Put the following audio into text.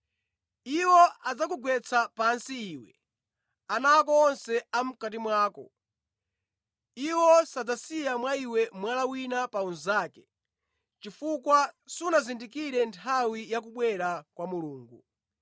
Iwo adzakugwetsera pansi, iwe, ana ako onse a mʼkati mwako. Iwo sadzasiya mwa iwe mwala wina pa unzake, chifukwa sunazindikire nthawi ya kubwera kwa Mulungu.”